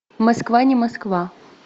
москва не москва